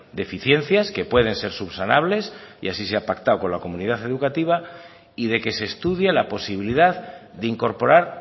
deficiencias que pueden ser subsanables y así se ha pactado con la comunidad educativa y de que se estudie la posibilidad de incorporar